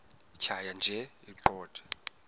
tjhaya nje iqondee